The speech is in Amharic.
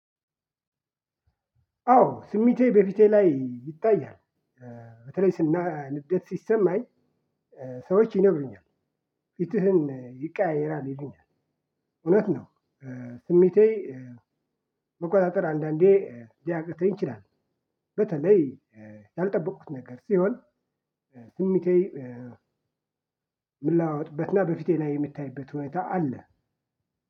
አዎ ስሜቴ በፊቴ ላይ ይታያል። በተለይ ስና ንዴት ሲሰማኝ። ሰዎች ይነግሩኛል ፊትህን ይቀያየራል ይሉኛል። እውነት ነው ስሜቴ። መቆጣጠር አንዳንዴ ሊያቅተኝ ይችላል። በተለይ ያልጠበኩት ነገር ሲሆን። ስሜቴ ሚለዋወጥበት እና በፊቴ ላይ የሚታይበት ሁኔታ አለ።